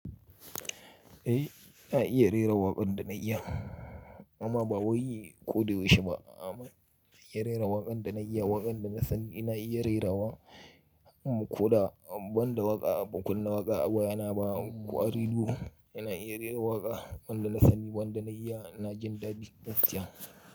Eh na iya rera waƙan da na iya, amma ba wai yi kode yaushi ba. A'a, amma na iya rera waƙan da na iya, waƙan da na sani ina iya rerawa, ko da banda waƙa, ba kunne waƙa ba yana ba ƙwari dubu, ina iya rera waƙa, wanda na sani, wanda na iya na jin dadi gaskiya.